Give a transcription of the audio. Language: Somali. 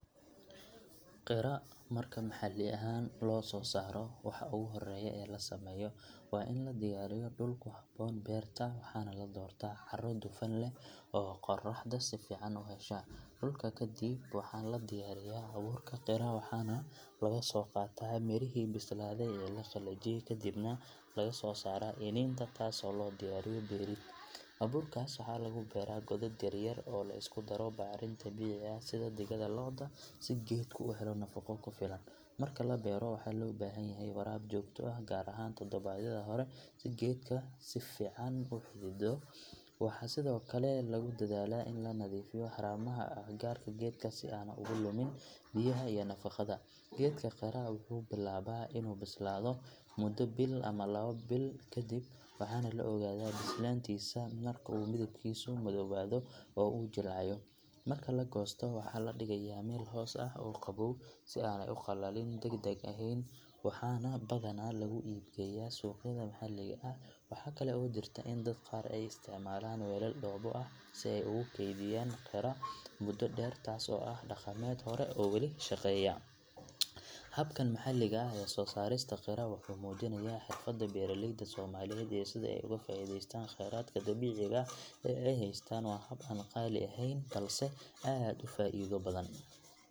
Qira marka maxalli ahaan loo soo saaro waxa ugu horreeya ee la sameeyo waa in la diyaariyo dhul ku habboon beerta waxaana la doortaa carro dufan leh oo qorraxda si fiican u hesha. Dhulka kadib waxaa la diyaariyaa abuurka qira waxaana laga soo qaataa mirihii bislaaday ee la qalajiyey kadibna laga soo saaraa iniinta taasoo loo diyaariyo beerid. Abuurkaas waxaa lagu beeraa godad yar yar oo la isku daro bacrin dabiici ah sida digada lo’da si geedka u helo nafaqo ku filan. Marka la beero waxaa loo baahan yahay waraab joogto ah gaar ahaan todobaadyada hore si geedka si fiican u xidido. Waxaa sidoo kale lagu dadaalaa in la nadiifiyo haramaha agagaarka geedka si aanu uga lumin biyaha iyo nafaqada. Geedka qira wuxuu bilaabaa inuu bislaado muddo bil ama laba kadib waxaana la ogaadaa bislaantiisa marka uu midabkiisu madoobaado oo uu jilcayo. Marka la goosto waxaa la dhigayaa meel hoos ah oo qabow si aanay u qallalin degdeg ahayn waxaana badanaa lagu iib geeyaa suuqyada maxalliga ah. Waxaa kale oo jirta in dad qaar ay isticmaalaan weelal dhoobo ah si ay ugu keydiyaan qira muddo dheer taas oo ah hab dhaqameed hore oo weli shaqeeya. Habkan maxalliga ah ee soo saarista qira wuxuu muujinayaa xirfadda beeraleyda Soomaaliyeed iyo sida ay uga faa’iidaystaan kheyraadka dabiiciga ah ee ay haystaan. Waa hab aan qaali ahayn balse aad u faa’iido badan.